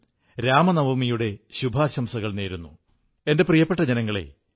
മുമ്പ് നവരാത്രിയിൽ ഗുജറാത്തിൽ ഗർബയുടെ മുഴക്കം എവിടെയുമുണ്ടായിരുന്നു